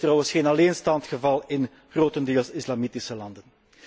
Dat is trouwens geen alleenstaand geval in grotendeels islamitische landen.